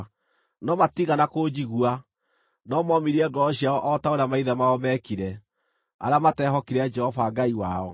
No matiigana kũnjigua, no momirie ngoro ciao o ta ũrĩa maithe mao meekire, arĩa mateehokire Jehova Ngai wao.